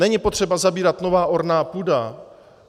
Není potřeba zabírat novou ornou půdu.